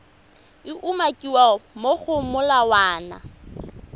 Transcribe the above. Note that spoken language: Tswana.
e umakiwang mo go molawana